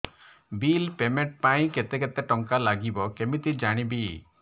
bill payment ପାଇଁ କେତେ କେତେ ଟଙ୍କା ଲାଗିବ କେମିତି ଜାଣିବି